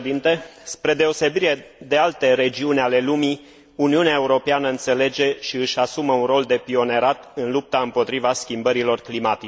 Spre deosebire de alte regiuni ale lumii, Uniunea Europeană înțelege și își asumă un rol de pionierat în lupta împotriva schimbărilor climatice.